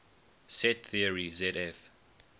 set theory zf